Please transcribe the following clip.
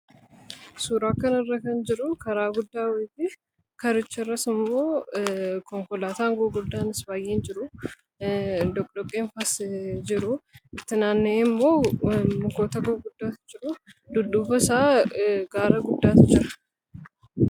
suuraakkan irra kan jiru karaa guddaa wati karicha irra sumoo konkolaataan guuguldaan is faayyein jiru dnfas jiru itti naanne'e immoo mukoota guuguddaa jiru duddufa isaa gaara guddaati jira